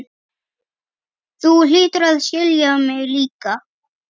Þú hlýtur að skilja mig líka.